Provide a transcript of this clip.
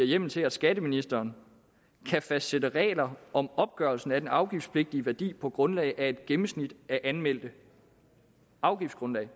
hjemmel til at skatteministeren kan fastsætte regler om opgørelsen af den afgiftspligtige værdi på grundlag af et gennemsnit af de anmeldte afgiftsgrundlag